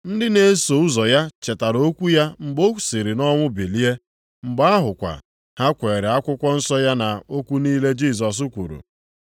Ndị na-eso ụzọ ya chetara okwu ya a mgbe o siri nʼọnwụ bilie. Mgbe ahụkwa, ha kweere akwụkwọ nsọ ya na okwu niile Jisọs kwuru.